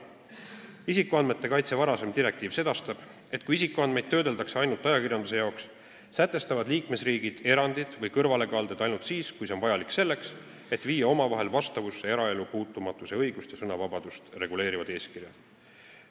Varasem isikuandmete kaitse direktiiv sedastab, et kui isikuandmeid töödeldakse ajakirjanduse jaoks, sätestavad liikmesriigid erandid või kõrvalekalded ainult siis, kui see on vajalik selleks, et viia omavahel vastavusse eraelu puutumatuse õigust ja sõnavabadust reguleerivad eeskirjad.